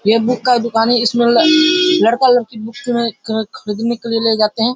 ये बुक का दुकान है इसमे ल लड़का-लड़की बुक में ख ख खरीदने के लिए ले जाते हैं।